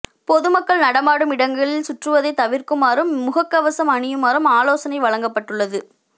பொதுமக்கள் நடமாடும் இடங்களில் சுற்றுவதை தவிர்க்குமாறும் முகக் கவசம் அணியுமாறும் ஆலோசனை வழங்கப்பட்டுள்ளது